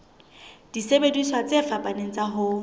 disebediswa tse fapaneng tsa ho